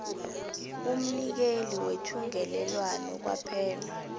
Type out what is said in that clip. kumnikeli wethungelelwano kwaphela